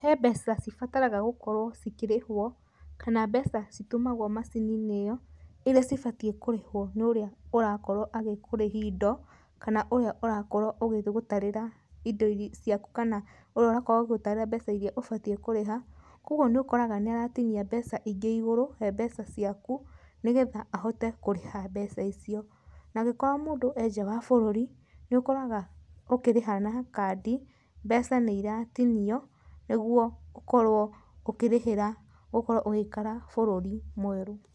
He mbeca cibataraga gũkorwo cikĩrĩhwo kana mbeca citũmagwo macini-inĩ ĩyo, irĩa cibatiĩ kũrĩhwo nĩ ũrĩa ũrakorwo agĩkũrĩhi indo, kana ũrĩa ũrakorwo ũgĩgũtarĩra indo irĩa ciaku kana ũrĩa ũrakorwo agĩgũtarĩra mbeca irĩa ũbatiĩ kũrĩha. Koguo nĩ ũkoraga nĩ aratinia mbeca ingĩ igũrũ he mbeca ciaku, nĩ getha ahote kũrĩha mbeca icio. Na angĩkorwo mũndũ e nja wa bũrũri, nĩ ũkoraga ũkĩrĩha na kandi mbeca nĩ iratinio nĩguo gũkorwo ũkĩrĩhĩra ũkorwo ũgĩikara bũrũri mwerũ.